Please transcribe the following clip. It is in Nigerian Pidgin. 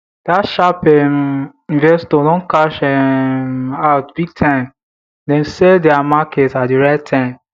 dat sharp um investor don cash um out big time dem sell dia market at di right time